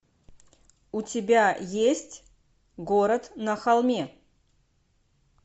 у тебя есть город на холме